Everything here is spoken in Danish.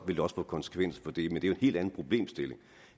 vil det også få konsekvenser for det er jo en helt anden problemstilling